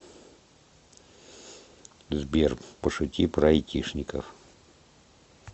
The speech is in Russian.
сбер пошути про айтишников